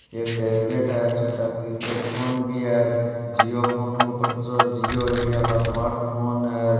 ये टेबलेट है छोटा कीपैड फ़ोन भी है जिओ फ़ोन के ऊपर तो जिओ इंडिया का स्मार्ट फ़ोन है र।